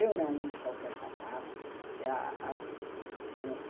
Eu não uso qualquer sapato. Ah ah